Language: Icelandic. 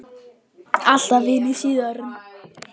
Alltaf vinir síðan.